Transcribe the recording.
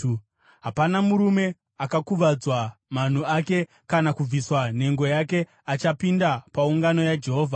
Hapana murume akakuvadzwa manhu ake kana kubviswa nhengo yake achapinda paungano yaJehovha.